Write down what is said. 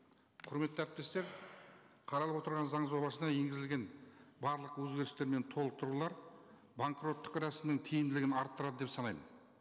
құрметті әріптестер қаралып отырған заң жобасына енгізілген барлық өзгерістер мен толықтырулар банкроттық рәсімінің тиімділігін арттырады деп санаймын